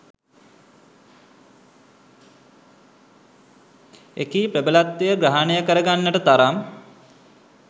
එකී ප්‍රබලත්වය ග්‍රහණය කර ගන්නට තරම්